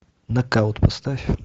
нокаут поставь